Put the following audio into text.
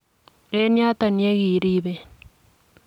En yoton yekiriben.